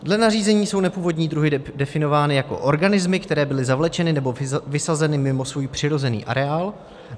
Dle nařízení jsou nepůvodní druhy definovány jako organismy, které byly zavlečeny nebo vysazeny mimo svůj přirozený areál.